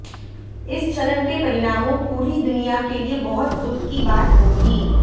इस चरण के परिणामों पूरी दुनिया के लिए बहुत दुख की बात होगी